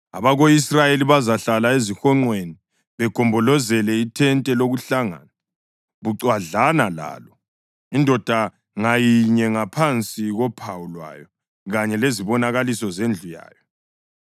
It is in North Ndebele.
“Abako-Israyeli bazahlala ezihonqweni begombolozele ithente lokuhlangana bucwadlana lalo, indoda ngayinye ngaphansi kophawu lwayo kanye lezibonakaliso zendlu yayo.”